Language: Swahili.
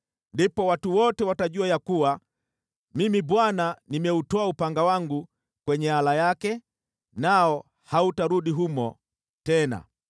Ndipo watu wote watajua ya kuwa Mimi Bwana nimeutoa upanga wangu kwenye ala yake, nao hautarudi humo tena.’